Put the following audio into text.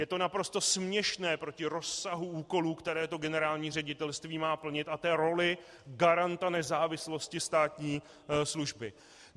Je to naprosto směšné proti rozsahu úkolů, které to generální ředitelství má plnit, a té roli garanta nezávislosti státní služby.